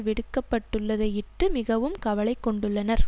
விடுக்கப்பட்டுள்ளதையிட்டு மிகவும் கவலைகொண்டுள்ளனர்